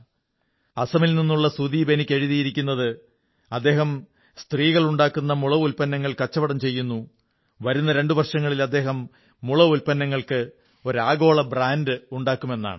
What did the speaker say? അസമിൽ നിന്നുള്ള സുദീപ് എനിക്കെഴുതിയിരിക്കുന്നത് അദ്ദേഹം സ്ത്രീകളുണ്ടാക്കുന്ന മുള ഉത്പന്നങ്ങൾ കച്ചവടം ചെയ്യുന്നു വരുന്ന രണ്ട് വർഷങ്ങളിൽ അദ്ദേഹം മുള ഉത്പന്നങ്ങൾക്ക് ഒരു ആഗോള ബ്രാൻഡ് ഉണ്ടാക്കുമെന്നാണ്